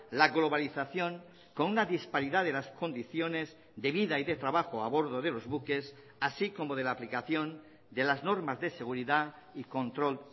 la globalización con una disparidad de las condiciones de vida y de trabajo a bordo de los buques así como de la aplicación de las normas de seguridad y control